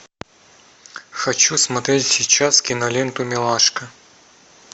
хочу смотреть сейчас киноленту милашка